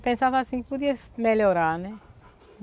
Pensava assim que podia melhorar, né?